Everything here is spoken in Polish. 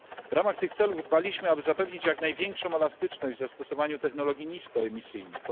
W ramach tych celów dbaliśmy, aby zapewnić jak największą elastyczność w zastosowaniu technologii niskoemisyjnych.